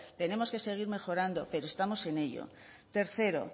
tenemos que seguir mejorando pero estamos en ello tercero